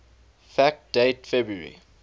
fact date february